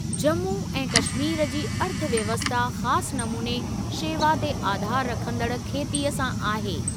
जम्मू ऐं कश्मीर जी अर्थव्यवस्था ख़ासि नमूने शेवा ते आधारु रखंदड़ खेतीअ सां आहे।